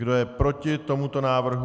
Kdo je proti tomuto návrhu?